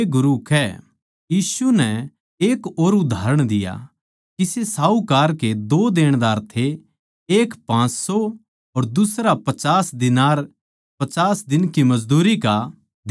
यीशु नै एक और उदाहरण दिया किसे साहूकार के दो देणदार थे एक पाँच सौ अर दुसरा पचास दीनार 50 दिन की मजदूरी का देणदार था